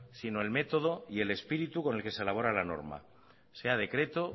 sino el método y el espíritu con el que se elabora la norma sea decreto